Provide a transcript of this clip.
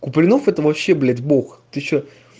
куплинов это вообще б бог ты что